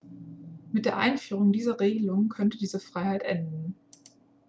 mit der einführung dieser regelung könnte diese freiheit enden